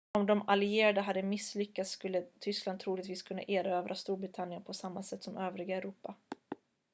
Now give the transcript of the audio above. om de allierade hade misslyckats skulle tyskland troligtvis kunnat erövra storbritannien på samma sätt som övriga europa